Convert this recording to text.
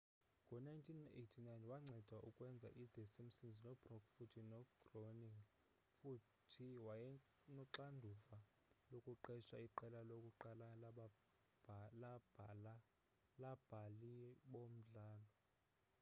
ngo-1989 wanceda ukwenza i-the simpsons no-brooks futhi no-groening futhi wayenoxanduva lokuqesha iqela lokuqala labhali bomdlalo